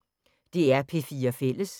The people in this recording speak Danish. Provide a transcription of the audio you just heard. DR P4 Fælles